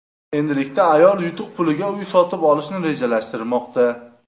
Endilikda ayol yutuq puliga uy sotib olishni rejalashtirmoqda.